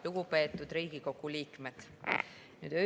Lugupeetud Riigikogu liikmed!